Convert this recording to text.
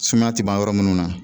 Sumaya tɛ ban yɔrɔ munnu na